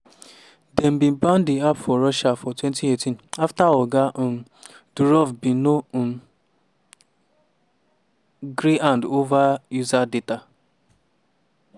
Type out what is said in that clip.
dem bin ban di app for russia for 2018 afta oga um durov bin no um gree hand over user data.